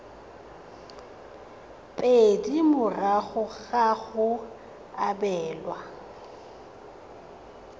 pedi morago ga go abelwa